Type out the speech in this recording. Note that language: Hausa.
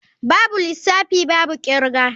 Babu lissafi babu kirga.